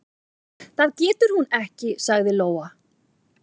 """Það getur hún ekki, sagði Lóa."""